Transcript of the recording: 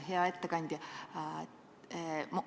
Hea ettekandja!